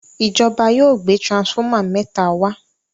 ìjọba yóò gbé transformer méta wá.